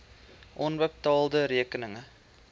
onbetaalde rekeninge